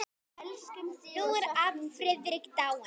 Nú er afi Friðrik dáinn.